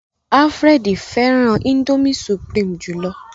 Alfred féràn indomie supreme jùlọ